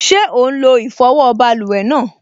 Ṣé ó n lo ìfọwọ́ báluwẹ̀ náà?